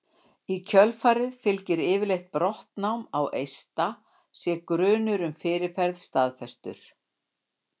Í kjölfarið fylgir yfirleitt brottnám á eista sé grunur um fyrirferð staðfestur.